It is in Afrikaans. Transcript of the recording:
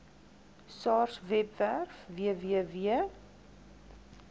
sars webwerf www